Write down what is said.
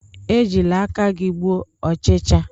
Ejila aka gi gbuo ochicha!